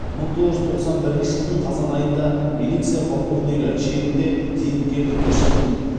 мың тоғыз жүз тоқсан бірінші жылдың қазан айында милиция полковнигі шенінде зейнеткерлікке шықтым